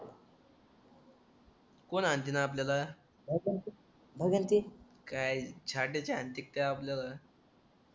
कोण हाणतील आपल्याला काय हांतील ते आपल्याला